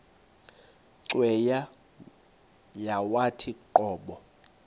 cweya yawathi qobo